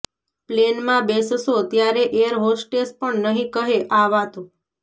પ્લેનમાં બેસશો ત્યારે એર હોસ્ટેસ પણ નહીં કહે આ વાતો